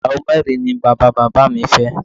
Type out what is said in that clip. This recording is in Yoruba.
Ìyàwó mẹ́rin ni bàbá bàbá mi fẹ́